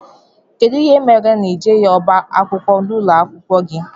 Kedụ ihe mere na i jeghi ọbá akwụkwọ ụlọakwụkwọ gị?